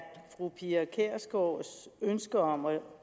fru pia kjærsgaards ønske om at